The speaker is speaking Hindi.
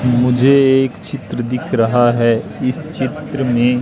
मुझे एक चित्र दिख रहा है इस चित्र में--